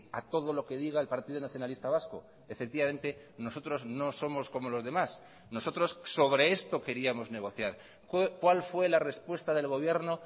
a todo lo que diga el partido nacionalista vasco efectivamente nosotros no somos como los demás nosotros sobre esto queríamos negociar cuál fue la respuesta del gobierno